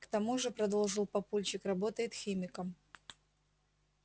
к тому же продолжил папульчик работает химиком